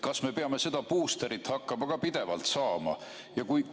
Kas me peame seda buusterit hakkama ka pidevalt saama?